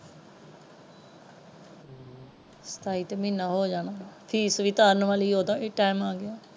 ਸਤਾਈ ਤੋਂ ਮਹੀਨਾ ਹੋ ਜਾਣ ਫੀਸ ਵੀ ਤਾਰਨ ਵਾਲੀ ਹੈ ਉਹਦਾ ਵੀ time ਆ ਗਿਆ।